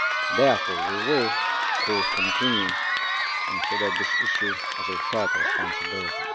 Therefore we will, of course, continue to consider this issue as a shared responsibility.